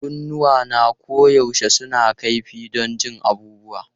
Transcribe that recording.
Kunnuwana koyaushe suna kaifi don jin abubuwa.